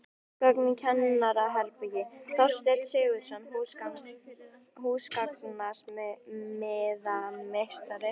Húsgögn í kennaraherbergi: Þorsteinn Sigurðsson, húsgagnasmíðameistari.